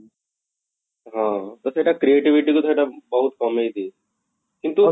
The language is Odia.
ହଁ, ତ ସେଟା creativity କୁ ସେଟା ବହୁତ କମେଇ ଦିଏ କିନ୍ତୁ ହଁ